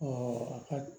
a ka